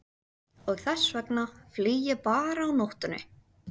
Og þess vegna flýg ég bara á nóttunni.